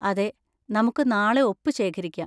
അതെ, നമുക്ക് നാളെ ഒപ്പ് ശേഖരിക്കാം.